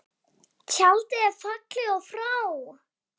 Tjaldið er fallið og frá.